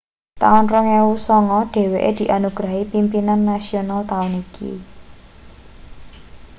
taun 2009 dheweke dianugrahi pimpinan nasional taun iki